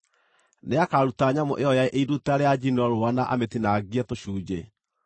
Nĩakaruta nyamũ ĩyo ya iruta rĩa njino rũũa na amĩtinangie tũcunjĩ.